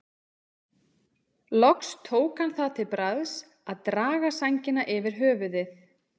Loks tók hann það til bragðs að draga sængina yfir höfuðið.